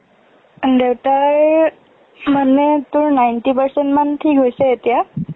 দেউতাৰ মানে, তোৰ ninety percent মান ঠিক হৈছে এতিয়া।